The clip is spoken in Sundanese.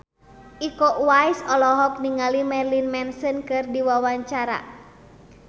Iko Uwais olohok ningali Marilyn Manson keur diwawancara